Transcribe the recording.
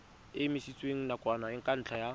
e emisitswe nakwana ka ntlha